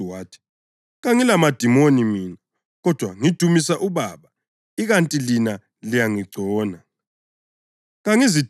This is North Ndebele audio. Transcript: UJesu wathi, “Kangiladimoni mina, kodwa ngidumisa uBaba ikanti lina liyangigcona.